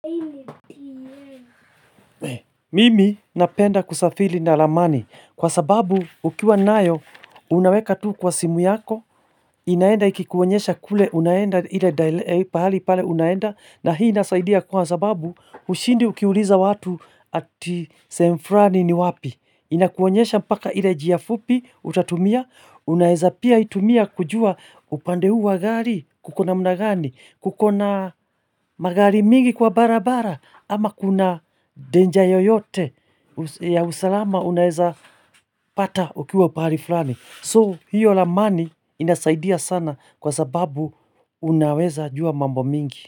Mimi napenda kusafiri na ramani kwa sababu ukiwa nayo unaweka tu kwa simu yako inaenda ikikuonyesha kule unaenda ile dahili pale unaenda na hii inasaidia kwa sababu hushindi ukiuliza watu ati sehemu fulani ni wapi inakuonyesha mpaka ile njiafupi utatumia unaeza pia itumia kujua upande huwa gari kukona managani Kukona magari mingi kwa barabara ama kuna danger yoyote ya usalama unaeza pata ukiwa pahali fulani. So hiyo ramani inasaidia sana kwa sababu unaweza jua mambo mingi.